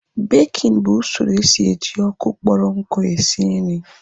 Békin bụ usoro esi eji ọkụ kpọrọ nku esi nri